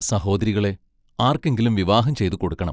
സഹോദരികളെ ആർക്കെങ്കിലും വിവാഹം ചെയ്തുകൊടുക്കണം...